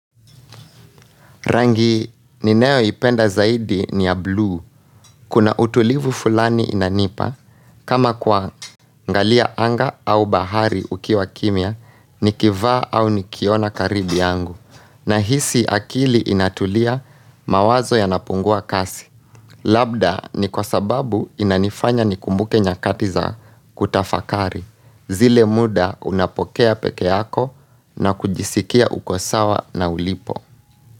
Rangi ninayoipenda zaidi ni ya buluu. Kuna utulivu fulani inanipa. Kama kuangalia anga au bahari ukiwa kimya, nikivaa au nikiona karibu yangu. Nahisi akili inatulia mawazo yanapungua kasi. Labda ni kwa sababu inanifanya nikumbuke nyakati za kutafakari. Zile muda unapokea peke yako na kujisikia uko sawa na ulipo.